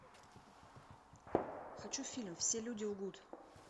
хочу фильм все люди лгут